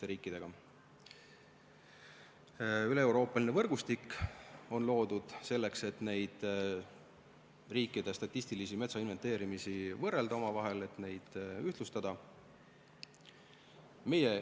On loodud üleeuroopaline võrgustik, et riikide statistilise metsainventeerimise tulemusi omavahel võrrelda, neid ühtlustada.